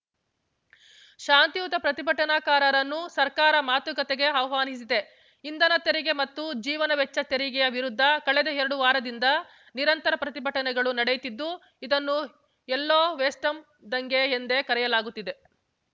ಶಾಂತಿಯುತ ಪ್ರತಿಭಟನಾಕಾರನ್ನು ಸರ್ಕಾರ ಮಾತುಕತೆಗೆ ಆಹ್ವಾನಿಸಿದೆ ಇಂಧನ ತೆರಿಗೆ ಮತ್ತು ಜೀವನ ವೆಚ್ಚ ಏರಿಕೆಯ ವಿರುದ್ಧ ಕಳೆದ ಎರಡು ವಾರದಿಂದ ನಿರಂತರ ಪ್ರತಿಭಟನೆಗಳು ನಡೆಯುತ್ತಿದ್ದು ಇದನ್ನು ಯಲ್ಲೋ ವೆಸ್ಟಂ ದಂಗೆ ಎಂದೇ ಕರೆಯಲಾಗುತ್ತಿದೆ